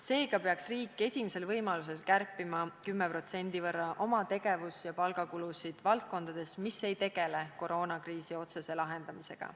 Seega peaks riik esimesel võimalusel kärpima 10% võrra oma tegevus- ja palgakulusid valdkondades, mis ei tegele koroonakriisi otsese lahendamisega.